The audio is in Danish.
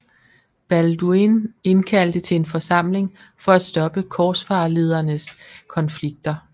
Balduin indkaldte til en forsamling for at stoppe korsfarerledernes konflikter